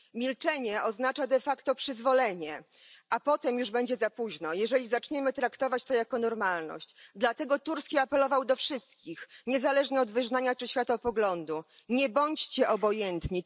Milczenie oznacza de facto przyzwolenie, a potem już będzie za późno, jeżeli zaczniemy traktować to jako normalność. Dlatego Turski apelował do wszystkich, niezależnie od wyznania czy światopoglądu nie bądźcie obojętni.